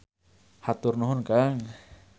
Hatur nuhun kang.